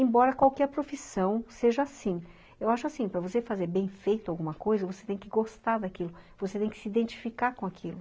Embora qualquer profissão seja assim, eu acho assim, para você fazer bem feito alguma coisa, você tem que gostar daquilo, você tem que se identificar com aquilo.